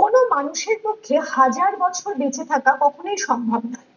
কোনো মানুষের পক্ষে হাজার বছর বেঁচে থাকা কখনই সম্ভব নয় ।